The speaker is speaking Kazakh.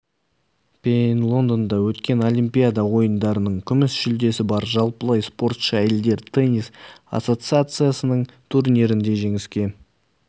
пен лондонда өткен олимпиада ойындарының күміс жүлдесі бар жалпылай спортшы әйелдер тенис ассоциациясының турнирінде жеңіске